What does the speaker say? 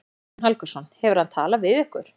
Guðjón Helgason: Hefur hann talað við ykkur?